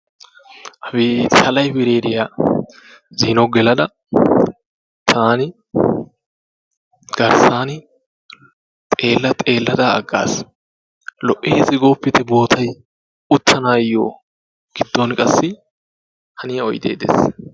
Abeeti ha laybireeriya zino gelada taani garssaani xeellaa xeellada aggaas. Lo"eesi gooppite bootayi uttanaayyo giddon qassi haniya oydee des.